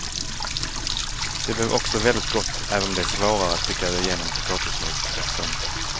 Det blev också väldigt gott även om det är svårare att trycka det genom potatismospressen.